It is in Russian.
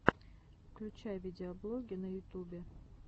включай видеоблоги на ютубе